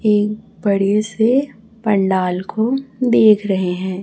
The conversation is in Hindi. एक बड़े से पंडाल को देख रहे हैं।